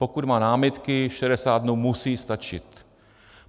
Pokud má námitky, 60 dnů musí stačit.